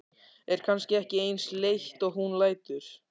Er kannski ekki eins leitt og hún lætur.